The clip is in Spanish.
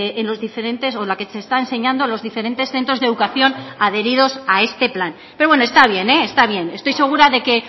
en los diferentes o la que se está enseñando los diferentes centros de educación adheridos a este plan pero bueno está bien está bien estoy segura de que